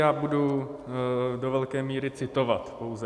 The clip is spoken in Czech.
Já budu do velké míry citovat, pouze.